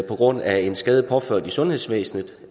på grund af en skade påført i sundhedsvæsenet